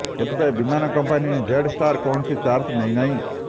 ଏଥିପାଇଁ ବିମାନ company Jetstar କୌଣସି ଚାର୍ଜ ନେଇ ନାହିଁ